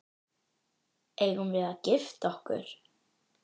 Eigum við að gifta okkur?